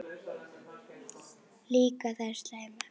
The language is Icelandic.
Líka þær slæmu.